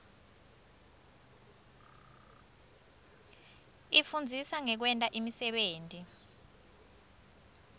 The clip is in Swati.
ifundzisa ngekwenta imisebenti